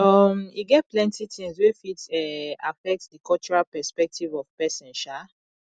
um e get plenty things wey fit um affect di cultural perspective of person um